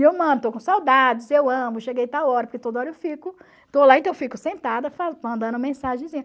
E eu mando, estou com saudades, eu amo, cheguei tal hora, porque toda hora eu fico, estou lá, então eu fico sentada, mandando mensagenzinha.